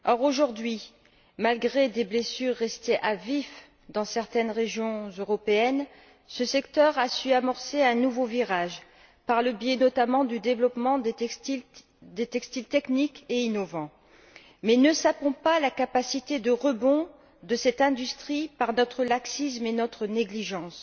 Aujourd'hui, malgré des blessures restées à vif dans certaines régions européennes, ce secteur a su amorcer un nouveau virage par le biais, notamment, du développement des textiles techniques et innovants. Mais ne sapons pas la capacité de rebond de cette industrie par notre laxisme et notre négligence.